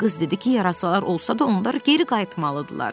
Qız dedi ki, yarasalar olsa da onlar geri qayıtmalıydılar.